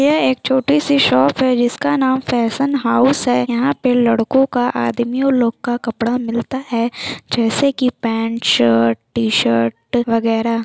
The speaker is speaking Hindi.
यह एक छोटी सी शॉप है जिसका नाम फैशन हाउस है यहाँ पे लड़को का आदमियों लोग का कपड़ा मिलता है जैसे की पैंट शर्ट टी-शर्ट वैगरा --